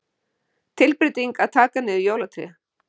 Tilbreytingin að taka niður jólatréð.